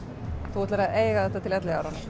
þú ætlar að eiga þetta til elliáranna